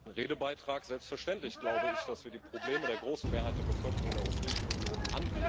Selbstverständlich glaube ich, dass wir die Probleme der großen Mehrheit der Bevölkerung in der Europäischen Union angehen müssen.